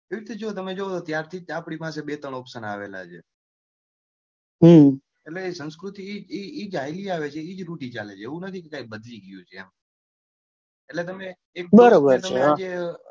એવી રીતે તમે જોવો ત્યાંથી જ આપડી પાસે બે ત્રણ option આવેલા છે એટલે એ જ સંસ્કૃતિ એ જ ચાલી આવે છે એટલે જે રીતે ચાલે છે એટલે એવું નથી કે સાહેબ બદલી ગયું છે એમ એટલે તમે એક